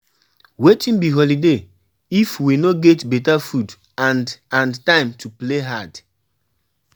Wetin be holiday if we no get beta food and and time to play hard